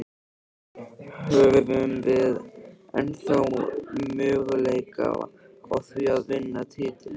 Höfum við ennþá möguleika á því að vinna titilinn?